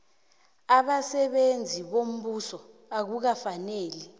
abasebenzi bombuso akukafaneli